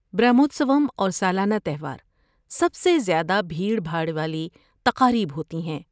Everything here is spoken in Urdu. برہموتسوم اور سالانہ تہوار سب سے زیادہ بھیڑ بھاڑ والی تقاریب ہوتی ہیں۔